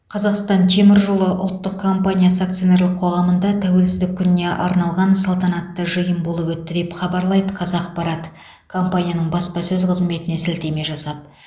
қазақстан темір жолы ұлттық компаниясы акционерлік қоғамында тәуелсіздік күніне арналған салтанатты жиын болып өтті деп хабарлайды қазақпарат компанияның баспасөз қызметіне сілтеме жасап